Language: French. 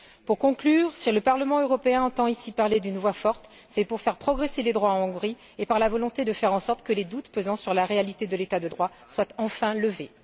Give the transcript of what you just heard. Pour conclure, si le Parlement européen entend, ici, parler d'une voix forte, c'est pour faire progresser les droits en Hongrie et par la volonté de faire en sorte que les doutes pesant sur la réalité de l'État de droit soient enfin levés.